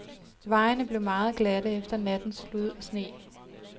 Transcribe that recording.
Vejene blev meget glatte efter nattens slud og sne.